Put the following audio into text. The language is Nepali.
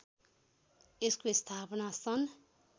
यसको स्थापना सन्